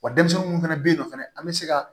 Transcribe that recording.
Wa denmisɛnnin munnu fɛnɛ be yen nɔ fɛnɛ an be se ka